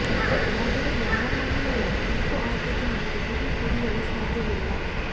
ಆದರೆ ಯಾವ ಮಹಿಳೆಯ ಕೆಂಪು ಆದ್ಯತೆ ಮತ್ತು ಬಿಳಿ ಕುಡಿಯಲು ಸಾಧ್ಯವಿಲ್ಲ